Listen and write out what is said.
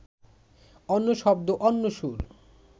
অন্য শব্দ, অন্য সুর